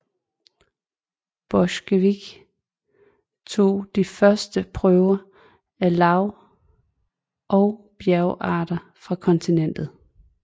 Borchgrevink tog de første prøver af lav og bjergarter fra kontinentet